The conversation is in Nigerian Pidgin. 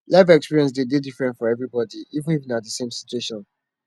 life experience de dey different for everybody even if na the same situation